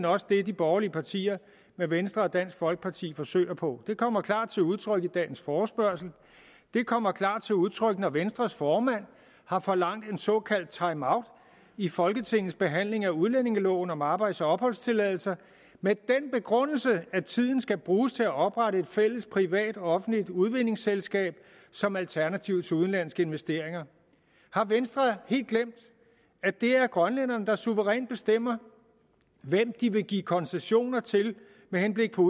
også det de borgerlige partier med venstre og dansk folkeparti i spidsen forsøger på det kommer klart til udtryk i dagens forespørgsel det kommer klart til udtryk når venstres formand har forlangt en såkaldt timeout i folketingets behandling af udlændingeloven om arbejds og opholdstilladelser med den begrundelse at tiden skal bruges til at oprette et fælles privat offentligt udvindingsselskab som alternativ til udenlandske investeringer har venstre helt glemt at det er grønlænderne der suverænt bestemmer hvem de vil give koncessioner til med henblik på